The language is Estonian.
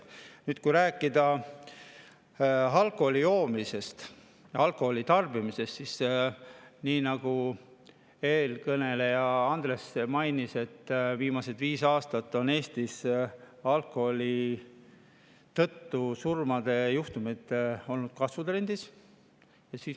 Nüüd, kui rääkida alkoholi tarbimisest, siis võib öelda, nii nagu eelkõneleja Andres mainis, et viimasel viiel aastal on alkoholist põhjustatud surmajuhtumid olnud Eestis kasvutrendis.